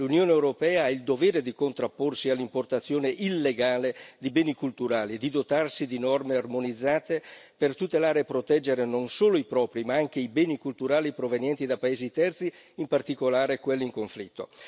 L'Unione europea ha il dovere di contrapporsi all'importazione illegale di beni culturali e di dotarsi di norme armonizzate per tutelare e proteggere non solo i propri, ma anche i beni culturali provenienti da paesi terzi, in particolare quelli in conflitto.